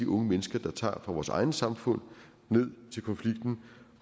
unge mennesker tager fra vores egne samfund ned til konflikten